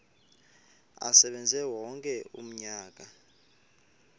asebenze wonke umnyaka